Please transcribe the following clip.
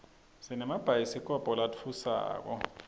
sinemabhayidikobho latfusako